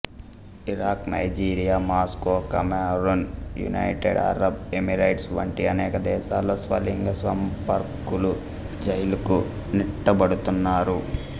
Iraq Nigeria Moscow Cameroon United Arab Emirates వంటి అనేక దేశాలలో స్వలింగ సంపర్కలు జైళ్ళకు నెట్టబడుతున్నారు